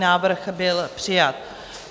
Návrh byl přijat.